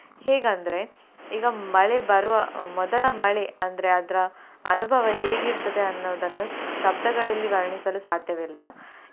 ಹೇಗಂದ್ರೆ ಈಗ ಮಳೆ ಬರುವ ಅಹ್ ಮೊದಲ ಮಳೆ ಅಂದ್ರೆ ಅದ್ರ ಅನುಭವ ಹೇಗೆ ಇರ್ತದೆ ಅನ್ನುವುದನ್ನು ಶಬ್ದಗಳಲ್ಲಿ ವರ್ಣಿಸಲು ಸಾಧ್ಯವಿಲ್ಲ.